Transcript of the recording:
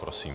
Prosím.